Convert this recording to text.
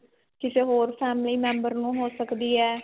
ਕਿਸੇ ਹੋਰ family member ਨੂੰ ਹੋ ਸਕਦੀ ਏ.